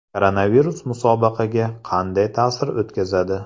Koronavirus musobaqaga qanday ta’sir o‘tkazadi?